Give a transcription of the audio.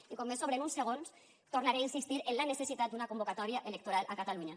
i com me sobren uns segons tornaré a insistir en la necessitat d’una convocatòria electoral a catalunya